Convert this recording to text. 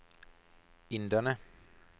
inderne